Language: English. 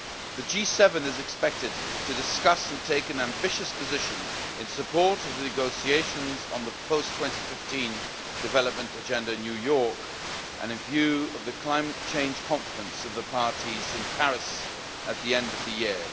The G7 is expected to discuss and take an ambitious position in support of the negotiations on the Post 2015 Development Agenda in New York and in view of the Climate Change Conference of the parties in Paris at the end of the year.